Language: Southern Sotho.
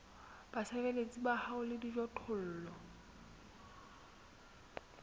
basebeletsi ba hao le dijothollo